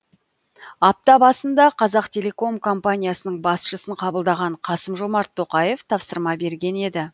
апта басында қазақтелеком компаниясының басшысын қабылдаған қасым жомарт тоқаев тапсырма берген еді